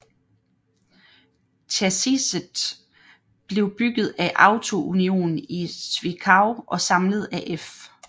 Chassiset blev bygget af Auto Union i Zwickau og samlet af F